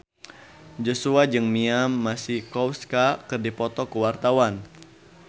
Joshua jeung Mia Masikowska keur dipoto ku wartawan